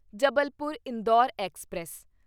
Jabalpur Indore express